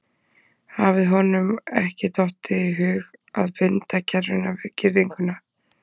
Hafði honum ekki dottið í hug að binda kerruna við girðinguna?